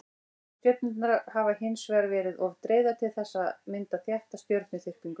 stjörnurnar hafa hins vegar verið of dreifðar til þess að mynda þétta stjörnuþyrpingu